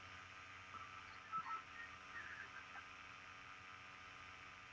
Við komumst aldrei til botns í henni.